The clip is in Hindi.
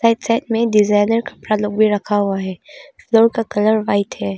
एक साइड में डिजाइनर कपड़ा लोग भी रखा हुआ है फ्लोर का कलर व्हाइट है।